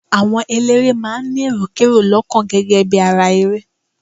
Àwọn eléré máa ń ní èròkerò lọ́kàn gẹ́gẹ́ bí ara ere.